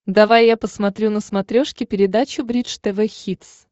давай я посмотрю на смотрешке передачу бридж тв хитс